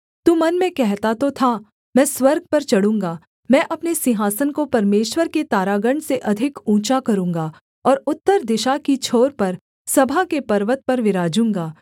तू मन में कहता तो था मैं स्वर्ग पर चढूँगा मैं अपने सिंहासन को परमेश्वर के तारागण से अधिक ऊँचा करूँगा और उत्तर दिशा की छोर पर सभा के पर्वत पर विराजूँगा